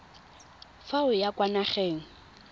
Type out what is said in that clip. fa o ya kwa nageng